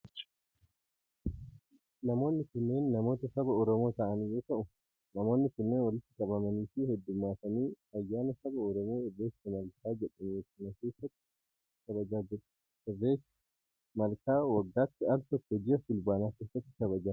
Namoonni kunneen namoota saba Oromoo ta'an yoo ta'u, namoonni kunneen walitti qabamanii fi hedduummatanii ayyaana saba Oromoo irreecha malkaa jedhamu hara keessatti kabajaa jiru. Irreechi malkaa waggaatti al tokko ji'a fulbaanaa keessa kabajama.